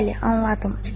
Bəli, anladım.